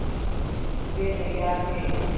वे तैयार थे